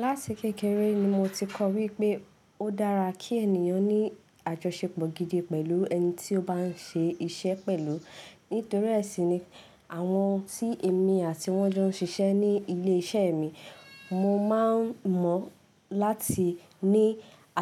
Láti kékeré ni mo ti kọ́ ọ wípé o dára kí ènìyàn ní àjọṣepọ̀ gidi pẹ̀lú ẹni tí o bá ń ṣe iṣẹ́ pẹ̀lú. Nítorí ẹ̀ sì ni àwọn tí èmi àti wọn jọ ń ṣiṣẹ́ ní ilé iṣẹ́ mi, mo máa ń mọ̀ láti ní